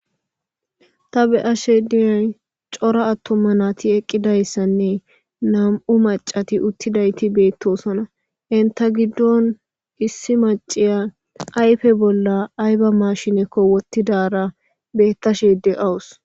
ta beyashe diyay cora attomma naati eqqidayssanne nam7u macati uttidayti beettosona inta giddon issi maciya ayfe bolla ayba mashinekko wottidara bettashe de awus